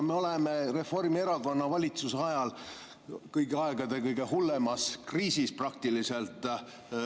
Me oleme Reformierakonna valitsuse ajal praktiliselt kõigi aegade kõige hullemas kriisis.